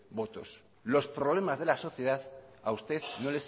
votos los problemas de la sociedad a usted